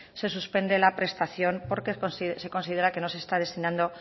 se suspende la prestación porque se considera que no se está destinando